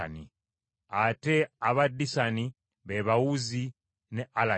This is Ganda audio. Ate aba Disani be ba Uzi ne Alani.